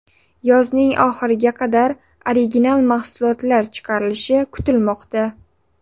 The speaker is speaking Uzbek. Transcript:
Yozning oxiriga qadar original mahsulotlar chiqarilishi kutilmoqda.